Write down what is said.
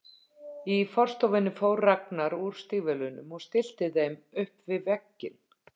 Í forstofunni fór Ragnar úr stígvélunum og stillti þeim upp við vegginn.